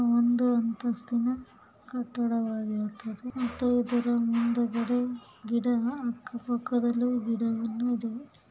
ಒಂದು ಅಂತಸ್ತಿನ ಕಟ್ಟಡವಾಗಿರುತ್ತದೆ ಮತ್ತೆ ಇದರ ಮುಂದುಗಡೆ ಗಿದಹ ಹಕ್ಕ ಪಕ್ಕ ದಲ್ಲಿ ಗಿಡವನ್ನು ಇದೆ.